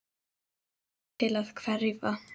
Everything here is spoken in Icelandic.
Vonast til að hverfa.